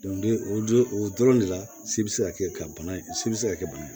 o don o dɔrɔn de la si bɛ se ka kɛ ka bana in si bɛ se ka kɛ bana ye